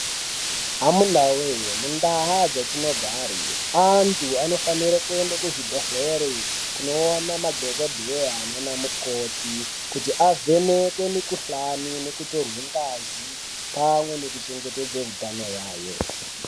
Munawee mundaa dzatinogare , antu anofanire kuende kuzvibhedhlere kunoona madhokodheyaa, nana mukoti kuti avhenekwe mukuhlani nekutorwe ngazi pamwe nekuchengetedze hutano yaayo.